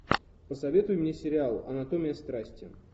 посоветуй мне сериал анатомия страсти